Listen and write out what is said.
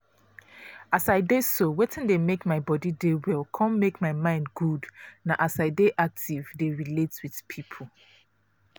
as i dey so wetin dey make my body dey well con make my mind good na as i dey active dey relate with people.